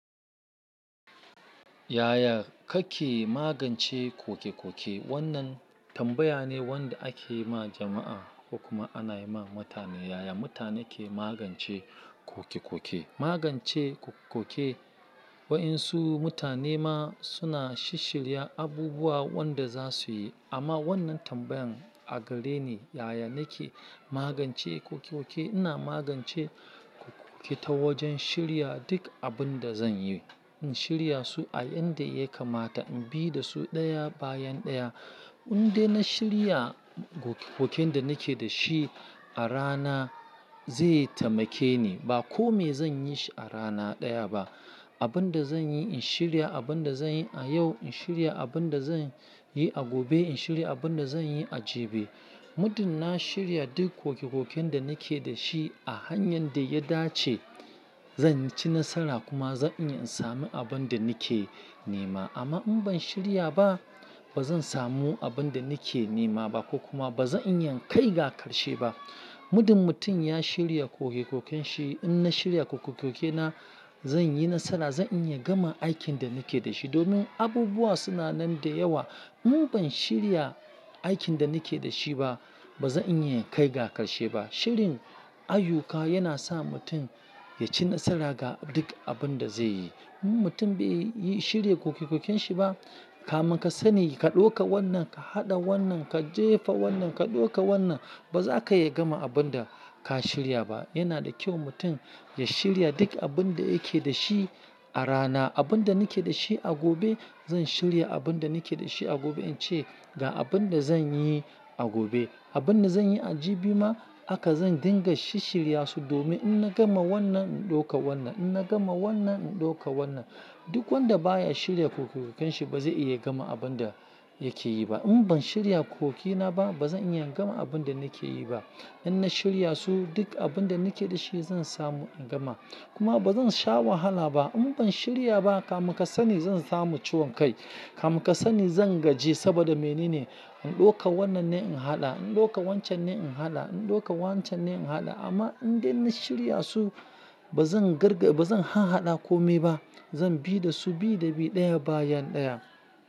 "Yaya kake magance koke-koke?" Wannan tambaya ne wanda ake yi ma jama'a, kokuma ana yi ma mutane. Yaya mutane ke magance koke-koke? Magance koke-koke, waɗansu mutane ma suna shirya abubuwa wanda za su yi. Amma wannan tambayan a gare ni, yaya nake magance koke-koke? Ina magance koke-koke ta wajen shirya duk abun da zan yi. In shirya su a yanda ya kamata, in bi da su ɗaya bayan ɗaya. In dai na shirya koken da nake da shi a rana, zai taimake ni. Ba kome zan yi shi a rana ɗaya ba. Abun da zan yi, in shirya. Abun da zan yi a yau, in shirya. Abun da zan yi a gobe, in shirya. Abun da zan yi a jibi. Muddin na shirya duk koke-koken da nake da shi a hanyar da ya dace, zan ci nasara kuma zan iya in sami abun da nake nema. Amma in ban shirya ba, ba zan samu abun da nake nema ba, kuma ba zan iya in kai ga ƙarshe ba. Muddin mutum ya shirya koke-koken shi, in na shirya koke-koke na, zan yi nasara. Zan iya gama aikin da nake da shi. Domin abubuwa suna nan da yawa. In ban shirya aikin da nake da shi ba, ba zan iya in kai ga ƙarshe ba. Shirin ayyuka yana sa mutum ya ci nasara ga duk abun da zai yi. In mutum bai shirya koke-koken shi ba, kamin ka sani ka ɗauka wannan, ka haɗa wannan, ka jefa wannan, ka ɗauka wannan. Ba za ka iya gama abun da ka shirya ba. Yana da kyau mutum ya shirya duk abun da yake da shi a rana. Abun da nake da shi a gobe, zan shirya abun da nake da shi a gobe in ce ga abun da zan yi a gobe. Abun da zan yi a jibi ma, haka zan dinga shishshirya su. Domin in na gama wannan, in ɗauka wannan. In na gama wannan, in ɗauka wannan. Duk wanda baya shirya koke-koken shi ba zai iya gama abun da yake yi ba. In ban shirya koke na ba, ba zan iya gama abun da nake yi ba. In na shirya su, duk abun da nake da shi zan samu in gama. Kuma ba zan sha wahala ba. In ban shirya ba, kamun ka sani zan samu ciwon kai. Kamu ka sani zan gaji saboda menene? In ɗauka wannan ne in haɗa, in ɗauka wancan ne in haɗa, in ɗauka wancan ne in haɗa. Amma in dai na shirya su, ba zan garga-- ba zan han haɗa kome ba. Zan bi da su bi da bi ɗaya bayan ɗaya.